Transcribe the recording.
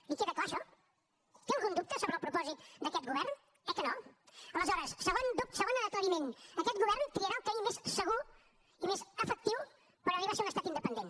li queda clar això té algun dubte sobre el propòsit d’aquest govern eh que no aleshores segon aclariment aquest govern triarà el camí més segur i més efectiu per arribar a ser un estat independent